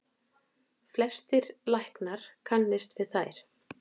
Flestir læknar kannist við þær.